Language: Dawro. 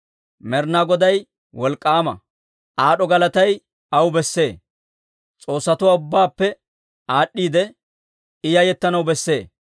Med'inaa Goday wolk'k'aama; Aad'd'o galatay aw bessee. S'oossatuwaa ubbaappe aad'd'iide, I yayettanaw besse.